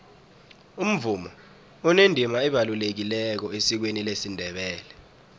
umvumo unendima ebalulekileko esikweni lesindebele